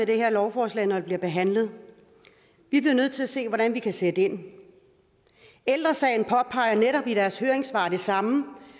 det her lovforslag når det bliver behandlet vi bliver nødt til at se på hvordan vi kan sætte ind ældre sagen påpeger netop i deres høringssvar det samme